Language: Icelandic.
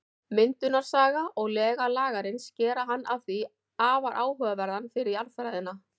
Myndunarsaga og lega Lagarins gera hann því afar áhugaverðan fyrir jarðfræðina.